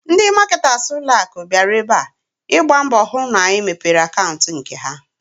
Ndị maketas ụlọaku bịara ebe a, ịgba mbọ hụ na anyị mepere akantị n'nke ha